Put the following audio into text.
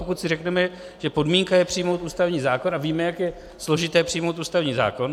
Pokud si řekneme, že podmínka je přijmout ústavní zákon, a víme, jak je složité přijmout ústavní zákon.